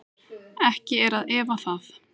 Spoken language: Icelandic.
Ekki er að efa það.